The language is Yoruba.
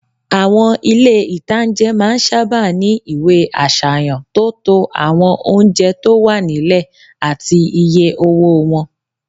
Àwọn ilé-ìtánjẹ máa n sáábà ní ìwé àsàyàn tó to àwọn oúnjẹ tó wà nílẹ̀ àti iye owó wọn